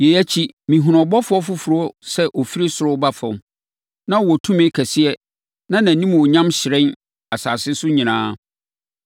Yei akyi, mehunuu ɔbɔfoɔ foforɔ sɛ ɔfiri ɔsoro reba fam. Na ɔwɔ tumi kɛseɛ na nʼanimuonyam hyerɛn asase so nyinaa.